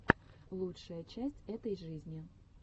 лучшая часть этой жизни